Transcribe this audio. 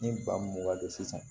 Ni ba mun ka don sisan